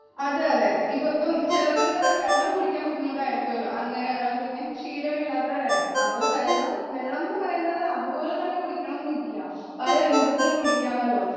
അതെ അതെ ഇപ്പോ ചിലർക്കൊക്കെ വെള്ളം കുടിക്കാൻ ബുദ്ധിമുട്ടായിരിക്കുമല്ലോ അങ്ങനെ വെള്ളം കുടിക്കാൻ ശീലമില്ലാത്തവരായിരിക്കാം അവരു വെള്ളം വെള്ളംനു പറയുന്നത് അതുപോലെതന്നെ കുടിക്കണം എന്നില്ല പലരൂപത്തിൽ കുടിക്കാമല്ലോ